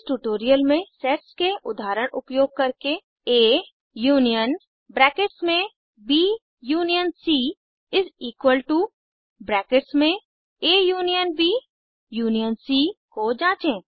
इस ट्यूटोरियल में सेट्स के उदाहरण उपयोग करके A union is equal to union C को जाँचें